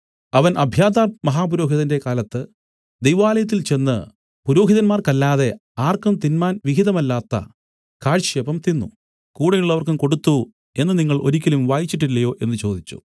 അവൻ അബ്യാഥാർമഹാപുരോഹിതന്റെ കാലത്ത് ദൈവാലയത്തിൽ ചെന്ന് പുരോഹിതന്മാർക്കല്ലാതെ ആർക്കും തിന്മാൻ വിഹിതമല്ലാത്ത കാഴ്ചയപ്പം തിന്നു കൂടെയുള്ളവർക്കും കൊടുത്തു എന്നു നിങ്ങൾ ഒരിക്കലും വായിച്ചിട്ടില്ലയോ എന്നു ചോദിച്ചു